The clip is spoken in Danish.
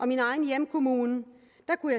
min egen hjemkommune